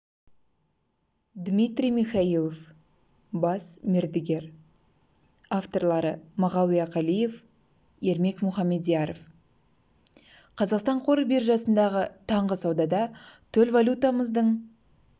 дмитрий михайлов бас мердігер авторлары мағауия қалиев ермек мухамедьяров қазақстан қор биржасындағы таңғы саудада төл валютамыздың